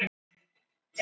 þar er töluð sænska